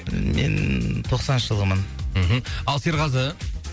мен тоқсаныншы жылғымын мхм ал серғазы